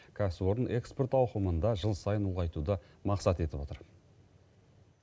кәсіпорын экспорт ауқымын да жыл сайын ұлғайтуды мақсат етіп отыр